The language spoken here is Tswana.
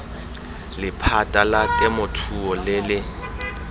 lephata la temothuo le le